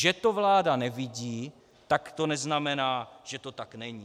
Že to vláda nevidí, tak to neznamená, že to tak není.